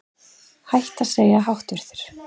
Hætt að segja háttvirtur